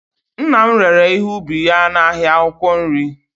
nna m rere ihe ubi ya n'ahịa akwụkwọ nri